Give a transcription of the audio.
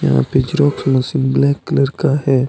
यहां पे xerox machine black colour का हे।